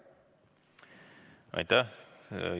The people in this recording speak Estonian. Aitäh!